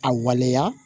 A waleya